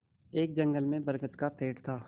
एक जंगल में बरगद का पेड़ था